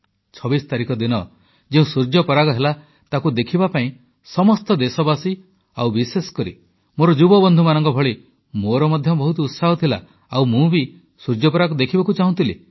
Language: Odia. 26 ତାରିଖ ଦିନ ଯେଉଁ ସୂର୍ଯ୍ୟପରାଗ ହେଲା ତାକୁ ଦେଖିବା ପାଇଁ ସମସ୍ତ ଦେଶବାସୀ ଓ ବିଶେଷକରି ମୋର ଯୁବବନ୍ଧୁମାନଙ୍କ ଭଳି ମୋର ମଧ୍ୟ ବହୁତ ଉତ୍ସାହ ଥିଲା ଆଉ ମୁଁ ବି ସୂର୍ଯ୍ୟପରାଗ ଦେଖିବାକୁ ଚାହୁଁଥିଲି